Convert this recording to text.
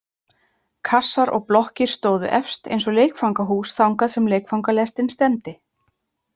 Kassar og blokkir stóðu efst eins og leikfangahús þangað sem leikfangalestin stefndi.